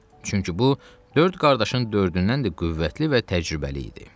Çünki bu dörd qardaşın dördündən də qüvvətli və təcrübəli idi.